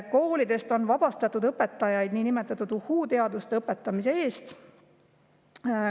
"Koolidest on vabastatud õpetajaid nn "uhuu-teaduste" õpetamise eest.